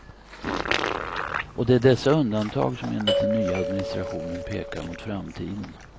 Och det är dessa undantag som enligt den nya administrationen pekar mot framtiden.